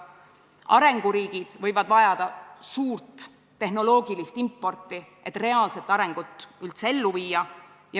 Arenguriigid võivad vajada suurt tehnoloogilist importi, et reaalset arengut üldse ellu viia.